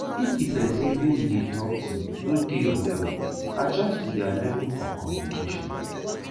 if di person wey you dey talk to no dey your level adjust to their level of communication